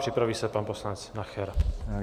Připraví se pan poslanec Nacher.